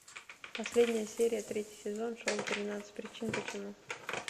последняя серия третий сезон шоу тринадцать причин почему